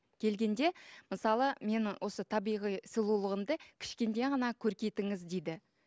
келгенде мысалы мен осы табиғи сұлулығымды кішкене ғана көркейтіңіз дейді